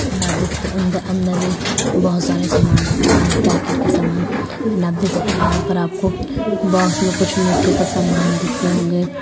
अंदर मे बहुत सारे समान रखे हुए है उस पैकेट के समान एण्ड आप देख सकते है यहाँ पर आपको बॉक्स मे कुछ मीठे के समान दिख रहे होंगे।